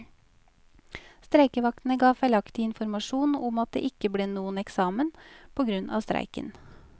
Streikevaktene ga feilaktig informasjon om at det ikke ble noen eksamen, på grunn av streiken.